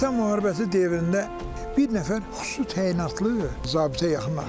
Vətən müharibəsi dövründə bir nəfər xüsusi təyinatlı zabitə yaxınlaşdım.